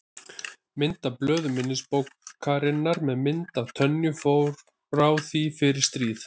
Mynd af blöðum minnisbókarinnar með mynd af Tönyu frá því fyrir stríð.